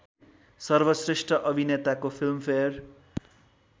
सर्वश्रेष्ठ अभिनेताको फिल्मफेयर